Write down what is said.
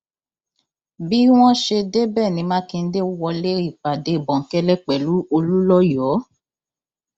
bí wọn ṣe débẹ ní mákindé wọlé ìpàdé bòńkẹlẹ pẹlú olùńlọyọ